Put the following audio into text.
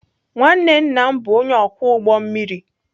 nwanne nna m bụ onye ọkwọ ụgbọ mmiri.